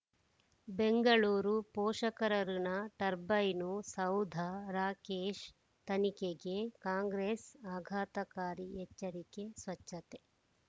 ಬೆಂಗಳೂರು ಪೋಷಕರಋಣ ಟರ್ಬೈನು ಸೌಧ ರಾಕೇಶ್ ತನಿಖೆಗೆ ಕಾಂಗ್ರೆಸ್ ಆಘಾತಕಾರಿ ಎಚ್ಚರಿಕೆ ಸ್ವಚ್ಛತೆ